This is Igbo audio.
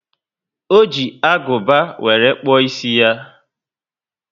O ji aguba were kpuo ísì ya